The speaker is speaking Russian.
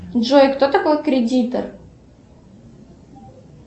джой кто такой кредитор